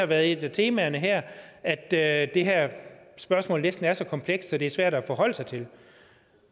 været et af temaerne her at at det her spørgsmål næsten er så komplekst at det er svært at forholde sig til